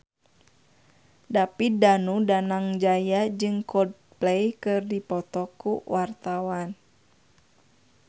David Danu Danangjaya jeung Coldplay keur dipoto ku wartawan